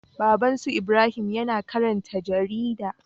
Babban su Ibrahim yAna karanta jarida